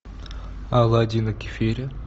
оладьи на кефире